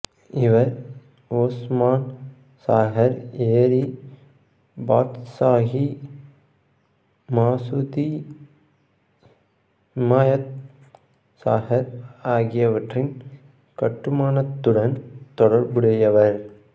இவர் ஓசுமான் சாகர் ஏரி பாத்சாகி மசூதி ஹிமாயத் சாகர் ஆகியவற்றின் கட்டுமானத்துடன் தொடர்புடையவர்